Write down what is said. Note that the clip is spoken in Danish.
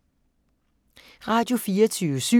Radio24syv